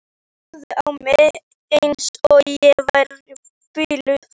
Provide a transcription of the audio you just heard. Þeir horfðu á mig eins og ég væri biluð.